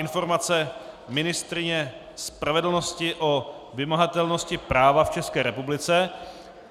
Informace ministryně spravedlnosti o vymahatelnosti práva v České republice